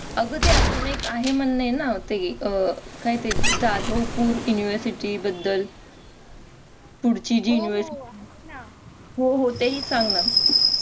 अग ते अजून एक आहे म्हणले ना ते अह काय ते जाधवपूर university बद्दल पुढची जी हो हो तेही सांग ना